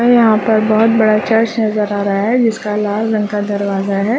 और यहाँ पर बहोत बड़ा चर्च नज़र आ रहा है जिसका लाल रंग का दरवाजा है।